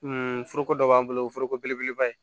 foroko dɔ b'an bolo o ye foroko belebeleba ye